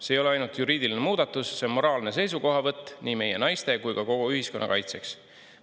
See ei ole ainult juriidiline muudatus, see on moraalne seisukohavõtt nii meie naiste kui ka kogu ühiskonna kaitseks.